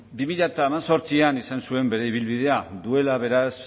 bi mila hemezortzian izan zuen bere ibilbidea duela beraz